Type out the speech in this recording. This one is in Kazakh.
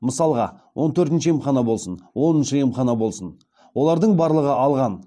мысалға он төртінші емхана болсын оныншы емхана болсын олардың барлығы алған